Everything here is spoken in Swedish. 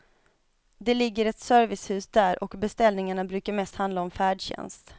Det ligger ett servicehus där och beställningarna brukar mest handla om färdtjänst.